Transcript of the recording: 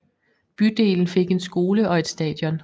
Bydelen fik en skole og et stadion